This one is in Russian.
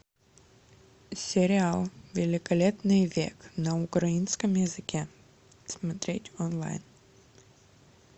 сериал великолепный век на украинском языке смотреть онлайн